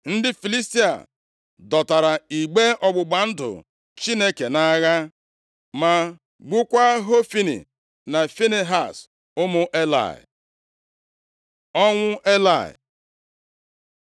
Ndị Filistia dọtara igbe ọgbụgba ndụ Chineke nʼagha, ma gbukwaa Hofni na Finehaz ụmụ Elayị. Ọnwụ Elayị